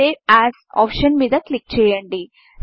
save as option మీద click చేయండి